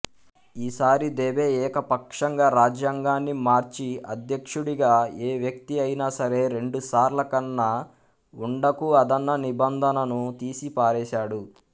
ఈసారి దెబె ఏకపక్షంగా రాజ్యాంగాన్ని మార్చి అధ్యక్షుడిగా ఏవ్యక్తి అయినాసరే రెండుసార్లకన్నా ఉండకూఅదన్న నిబంధనను తీసిపారేశాడు